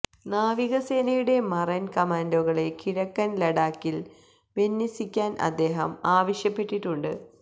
നാവികസേനയുടെ മറൈൻ കമാൻഡോകളെ കിഴക്കൻ ലഡാക്കിൽ വിന്യസിക്കാൻ അദ്ദേഹം ആവശ്യപ്പെട്ടിട്ടുണ്ട്